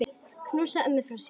Knúsaðu ömmu frá mér.